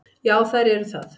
Já, þær eru það.